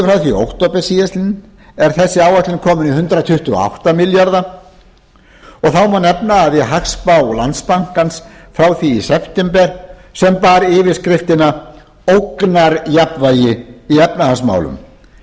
október síðastliðinn er þessi áætlun komin í hundrað tuttugu og átta milljarða króna þá má nefna að í hagspá landsbankans frá því í september sem bar yfirskriftina ógnarjafnvægi í efnahagsmálum